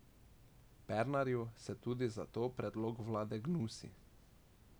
Pernarju se tudi zato predlog vlade gnusi.